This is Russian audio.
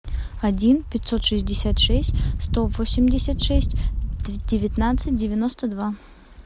один пятьсот шестьдесят шесть сто восемьдесят шесть девятнадцать девяносто два